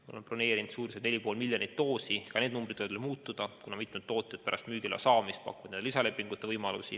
Me oleme broneerinud umbes 4,5 miljonit doosi, aga ka see arv võib veel muutuda, kuna mitme toote kohta on pärast müügiloa saamist pakutud lisalepingute võimalust.